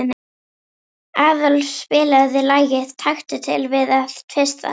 Aðólf, spilaðu lagið „Taktu til við að tvista“.